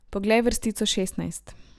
Poglej vrstico šestnajst!